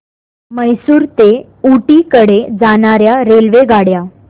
म्हैसूर ते ऊटी कडे जाणार्या रेल्वेगाड्या